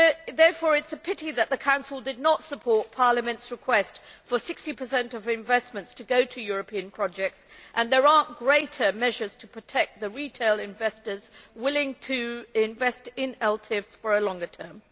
Therefore, it is a pity that the Council did not support Parliament's request for 60 of investments to go to European projects and there are not greater measures to protect the retail investors willing to invest in ELTIFs for a longer term.